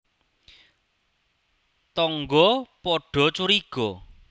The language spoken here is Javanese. Tangga padha curiga